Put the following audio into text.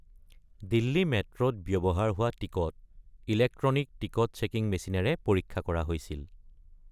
দিল্লী মেট্ৰ’ত ব্যৱহাৰ হোৱা টিকট ইলেক্ট্ৰনিক টিকট চেকিং মেচিনেৰে পৰীক্ষা কৰা হৈছিল ।